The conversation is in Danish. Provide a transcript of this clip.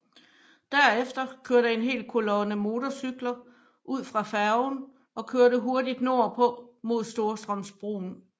Derefter kørte en hel kolonne motorcykler ud fra færgen og kørte hurtigt nordpå mod Storstrømsbroen